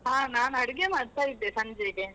ಹಾ ನಾನ್ ಅಡುಗೆ ಮಾಡ್ತಾ ಇದ್ದೆ, ಸಂಜೆಗೆ.